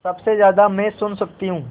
सबसे ज़्यादा मैं सुन सकती हूँ